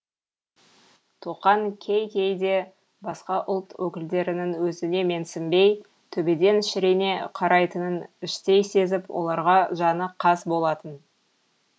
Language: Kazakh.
тоқаң кей кейде басқа ұлт өкілдерінің өзіне менсінбей төбеден шірене қарайтынын іштей сезіп оларға жаны қас болатын